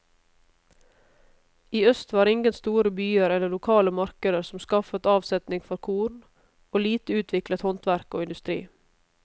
I øst var ingen store byer eller lokale markeder som skaffet avsetning for korn, og lite utviklet handverk og industri.